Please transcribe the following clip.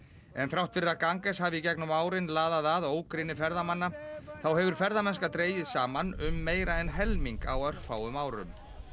en þrátt fyrir að Ganges hafi í gegnum árin laðað að ógrynni ferðamanna þá hefur ferðamennska dregist saman um meira en helming á örfáum árum